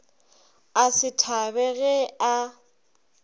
a se thabe ge a